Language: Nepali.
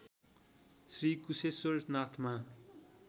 श्री कुशेश्वर नाथमा